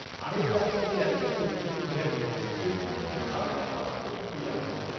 হাড়ের ডাক্তার যে অ্যালোপ্যাথি ওষুধগুলো দেন, সেগুলোর তো মারাত্মক পার্শ্বপ্রতিক্রিয়া আছে।